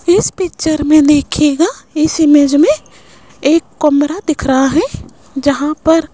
इस पिक्चर मे देखियेगा इस इमेज मे एक कमरा दिख रहा है जहां पर --